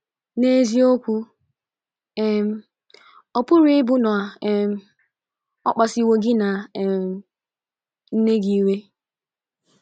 N’eziokwu um, ọ pụrụ ịbụ na um ọ kpasuwo gị na um nne gị iwe.